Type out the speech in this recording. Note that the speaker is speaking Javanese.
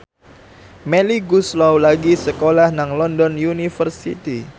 Melly Goeslaw lagi sekolah nang London University